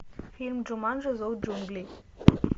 фильм джуманджи зов джунглей